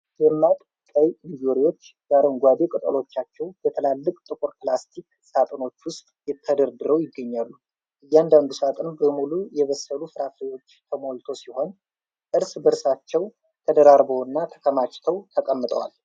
ደማቅ ቀይ እንጆሪዎች በአረንጓዴ ቅጠሎቻቸው በትላልቅ ጥቁር ፕላስቲክ ሳጥኖች ውስጥ ተደርድረው ይገኛሉ። እያንዳንዱ ሳጥን በሙሉ የበሰሉ ፍራፍሬዎች ተሞልቶ ሲሆን፣ እርስ በርሳቸው ተደራርበውና ተከማችተው ተቀምጠዋል።